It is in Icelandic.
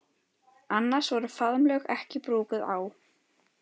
Annars voru faðmlög ekki brúkuð á